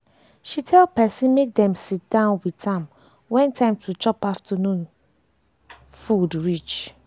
she tell person make dem sit down with am wen time to chop afternoon to chop afternoon food reach